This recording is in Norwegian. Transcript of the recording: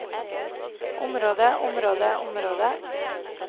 området området området